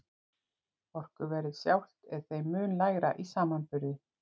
Orkuverðið sjálft er þeim mun lægra í samanburði.